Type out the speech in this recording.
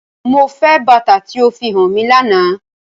Mo nfẹ bata ti o fihan mi làná!